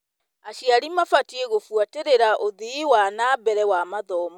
Aciari mabatiĩ gũbuatĩrĩra ũthii wa na mbere wa mathomo.